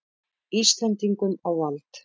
Íslendingum á vald.